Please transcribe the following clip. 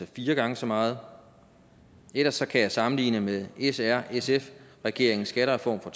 fire gange så meget og ellers kan man sammenligne med srsf regeringens skattereform fra